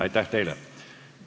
Aitäh teile!